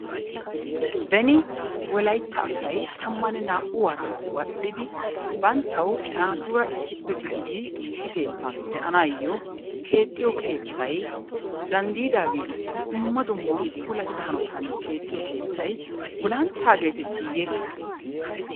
Beni wolayitta asay tammanne naa"u waraa wadhdhidi banttawu naatuura issippe gididi issi keettan de'anaayo keexxiyo keettay zandiidaa giigissidi dumma dumma puulattida hanotan keexxiyo keettay gulantta geetettiiye?